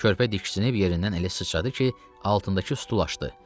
Körpə diksinib yerindən elə sıçradı ki, altındakı stul açdı.